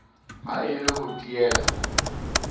ha e le ho teela